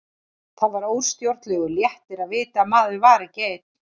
Það var óstjórnlegur léttir að vita að maður var ekki einn.